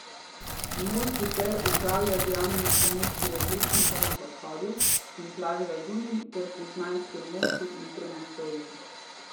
Mol sicer upravlja z javnimi stranišči v Plečnikovem podhodu in Plavi laguni ter pri Zmajskem mostu in Tromostovju.